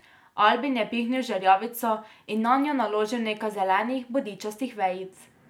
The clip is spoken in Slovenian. Albin je pihnil v žerjavico in nanjo naložil nekaj zelenih bodičastih vejic.